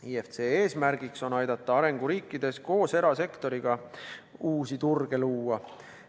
IFC eesmärk on aidata arenguriikides koos erasektoriga uusi turge luua.